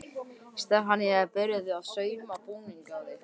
Stefanía er byrjuð að sauma búning á þig.